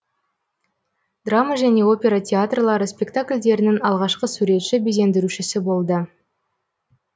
драма және опера театрлары спектакльдерінің алғашқы суретші безендірушісі болды